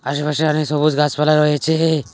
আশেপাশে অনেক সবুজ গাছপালা রয়েছে।